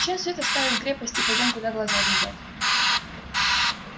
чем свет оставим крепость и пойдём куда глаза глядят